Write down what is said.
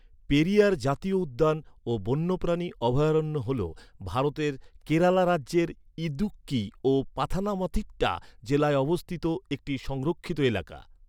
পেরিয়ার জাতীয় উদ্যান ও বন্যপ্রাণী অভয়ারণ্য হ’ল, ভারতের কেরালা রাজ্যের ইদুক্কি ও পাথানামথিট্টা জেলায় অবস্থিত একটি সংরক্ষিত এলাকা।